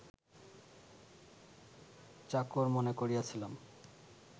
চাকর মনে করিয়াছিলাম